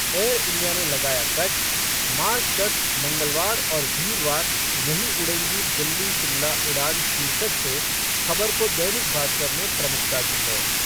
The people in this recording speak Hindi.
एयर इंडिया ने लगाया कट, मार्च तक मंगलवार और वीरवार नहीं उड़ेंगी दिल्ली शिमला उड़ान शीर्षक से खबर को दैनिक भास्कर ने प्रमुखता दी है।